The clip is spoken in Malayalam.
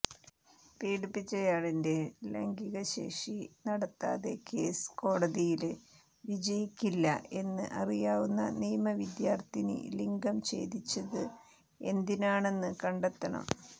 പീഡിപ്പിച്ചയാളിന്റെ ലൈംഗികശേഷി നടത്താതെ കേസ് കോടതിയില് വിജയിക്കില്ല എന്ന് അറിയാവുന്ന നിയമ വിദ്യാര്ത്ഥിനി ലിംഗം ഛേദിച്ചത് എന്തിനാണെന്ന് കണ്ടെത്തണം